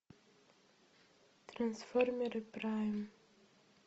трансформеры прайм